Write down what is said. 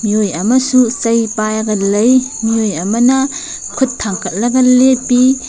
ꯃꯤꯑꯣꯏ ꯑꯃꯁꯨ ꯆꯩ ꯄꯥꯏꯔꯒ ꯂꯩ ꯃꯤꯑꯣꯏ ꯑꯃꯅ ꯈꯨꯠ ꯊꯪꯒꯠꯂꯒ ꯂꯦꯞꯄꯤ꯫